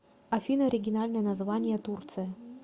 афина оригинальное название турция